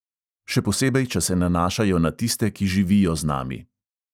Še posebej, če se nanašajo na tiste, ki živijo z nami.